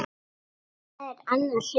Það er annar hlutur.